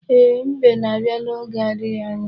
Ee, Mbe na-abịa n'oge adighi anya.